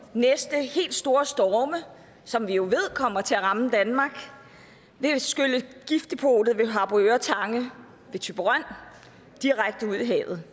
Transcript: næste helt store storme som vi jo ved kommer til at ramme danmark vil skylle giftdepotet ved harboøre tange ved thyborøn direkte ud i havet